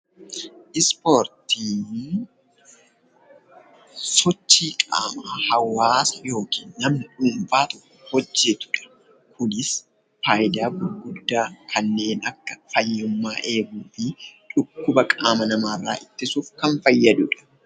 Ispoortiin sochii qaamaa hawaasni yookiin namni dhuunfaan hojjetu yookis faayidaa gurguddaa kanneen akka fayyummaa eeguufi dhukkuba qaama namaa irra ittisuuf kan fayyadudha.